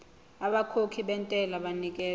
abakhokhi bentela banikezwa